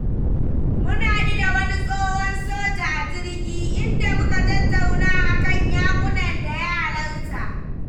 Mun haɗu da wani tsohon soja a jirgi, inda muka tattauna a kan yaƙunan da ya halarta.